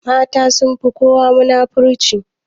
Mata sunfi kowa munafurci.